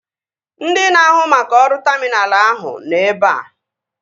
Ndị na-ahụ maka ọrụ taminalụ ahụ nọ ebea